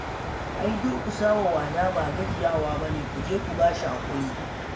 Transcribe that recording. Ai durƙusa wa wada ba gajiya ba ne ku je ku ba shi haƙuri